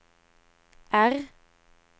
R